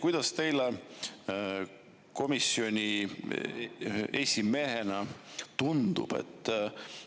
Kuidas teile komisjoni esimehena tundub?